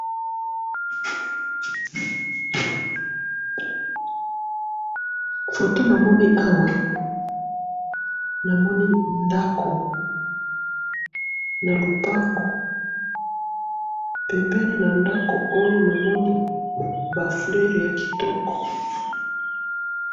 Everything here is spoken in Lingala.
photo namoni awa, namoni ndako na lupango, pembeni na ndako oyo, namoni ba fleurs ya kitoko